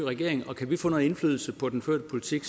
regering og kan vi få noget indflydelse på den førte politik